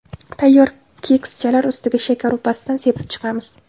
Tayyor kekschalar ustiga shakar upasidan sepib chiqamiz.